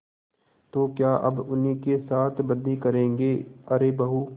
तो क्या अब उन्हीं के साथ बदी करेंगे अरे बहू